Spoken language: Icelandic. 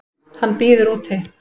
Hann bíður úti.